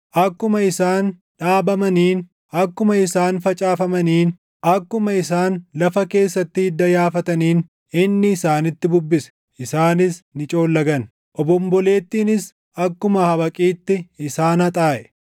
Akkuma isaan dhaabamaniin, akkuma isaan facaafamaniin, akkuma isaan lafa keessatti hidda yaafataniin, // inni isaanitti bubbise; isaanis ni coollagan; obombolettiinis akkuma habaqiitti isaan haxaaʼe.